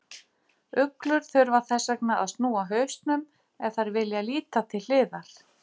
Uglur þurfa þess vegna að snúa hausnum ef þær vilja líta til hliðar.